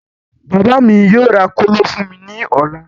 Bàbá mí yóò ra kóló fún mí ní ọ̀la